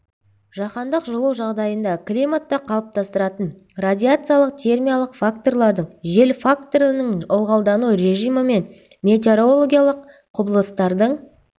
жаһандық жылу жағдайында климатты қалыптастыратын радиациялық термиялық факторлардың жел факторының ылғалдану режимі мен метеорологиялық құбылыстардың